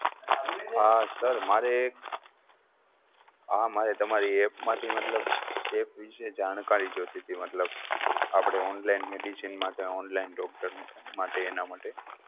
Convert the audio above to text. હા sir મારે એક sir મારે તમારી App માંથી મતલબ app વિશે જાણકારી જોઈતી હતી મતલબ આપણે Online Medicine માટે Online Doctor માટે એના માટે